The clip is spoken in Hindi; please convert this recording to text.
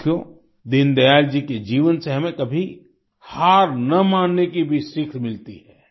साथियो दीन दयाल जी के जीवन से हमें कभी हार न मानने की भी सीख मिलती है